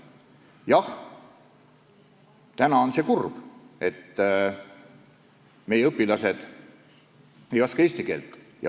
Jah, see on kurb, et meie õpilased ei oska eesti keelt.